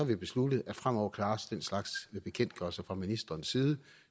vi besluttet at fremover klares den slags bekendtgørelser fra ministerens side